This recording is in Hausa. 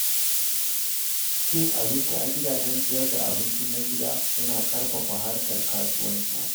Cin abinci a gidajen sayar da abinci na gida yana ƙarfafa harkar kasuwanci.